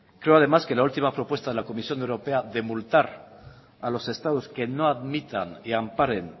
creo además que la última propuesta en la comisión europea de multar a los estados que no admitan y amparen